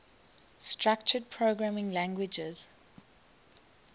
structured programming languages